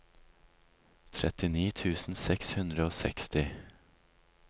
trettini tusen seks hundre og seksti